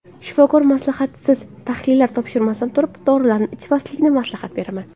Shifokor maslahatisiz, tahlillar topshirmasdan turib, dorilarni ichmaslikni maslahat beraman.